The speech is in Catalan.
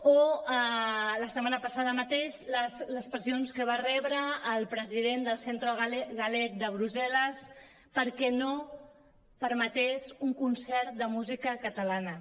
o la setmana passada mateix les pressions que va rebre el president del centro galego de brussel·les perquè no permetés un concert de música catalana